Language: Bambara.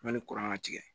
Yanni kuran ka tigɛ